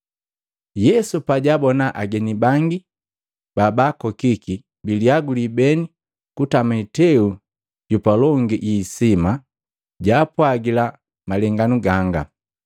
Yesu pajaabona ageni bangi babaakokiki biliaguli beni kutama iteu yapa longi yiniisima, jaapwagila malenganu ganga.